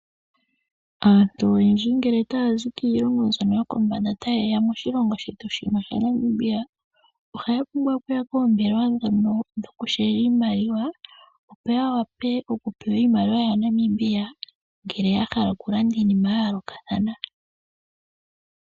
Aantu oyendji ngele taya zi kiilongo mbyono yokombanda tayeya moshilongo shetu shino Namibia, ohaya pumbwa okuya poombelewa ndhono dhokushendka nenge okutaambathana iimaliwa. Ohaya pewa iimaliwa yaNamibia ngele yahala okulanda iinima yayoolokathana .